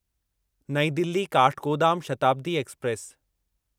नईं दिल्ली काठगोदाम शताब्दी एक्सप्रेस